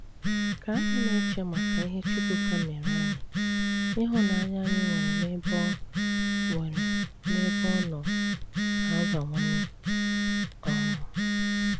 Kà ànyị na-eche màkà ìhè Chùkwùká mèré ànyị, ìhụ̀nànyà ànyị nwere n’ebe ọ nwere n’ebe ọ nọ na-abàwànyè. um